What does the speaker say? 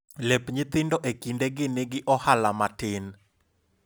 lep nyithindo e kinde gi nigi ohala matin